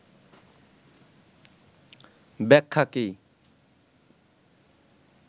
ব্যাখ্যা কী